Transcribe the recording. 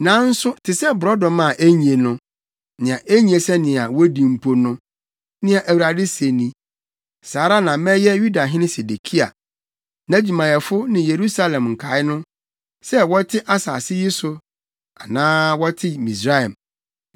“ ‘Nanso te sɛ borɔdɔma a enye no, nea enye sɛnea wodi mpo no,’ nea Awurade se ni, ‘saa ara na mɛyɛ Yudahene Sedekia, nʼadwumayɛfo ne Yerusalem nkae no, sɛ wɔte asase yi so anaa wɔte Misraim.